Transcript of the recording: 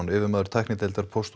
yfirmaður tæknideildar Póst og